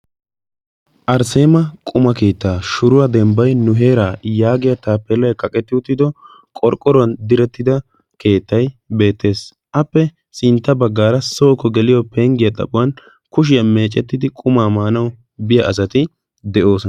arsseema quma kiittaa shuruwaa dembbai nu heeraa yaagiyaa taa pelai qaqetti uttido qorqqoruwan direttida keettai beettees appe sintta baggaara sooko geliyo penggiyaa xaphuwan kushiyaa meecettidi qumaa maanau biya asati de7oos